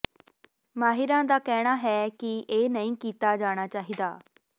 ਮਾਹਿਰਾਂ ਦਾ ਕਹਿਣਾ ਹੈ ਕਿ ਇਹ ਨਹੀਂ ਕੀਤਾ ਜਾਣਾ ਚਾਹੀਦਾ